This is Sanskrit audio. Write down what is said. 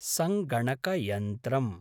सङ्गणकयन्त्रम्